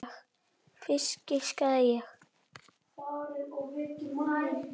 Fisk, giskaði ég.